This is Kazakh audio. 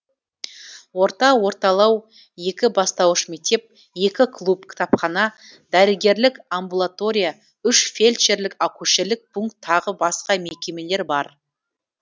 орта орталау екі бастауыш мектеп екі клуб кітапхана дәрігерлік амбулатория үш фельдшірлік акушерлік пунк тағы басқа мекемелер бар